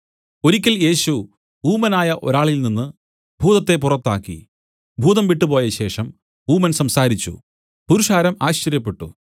ഒരിക്കൽ യേശു ഊമനായ ഒരാളിൽ നിന്നു ഭൂതത്തെ പുറത്താക്കി ഭൂതം വിട്ടുപോയശേഷം ഊമൻ സംസാരിച്ചു പുരുഷാരം ആശ്ചര്യപ്പെട്ടു